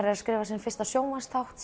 er að skrifa sinn fyrsta sjónvarpsþátt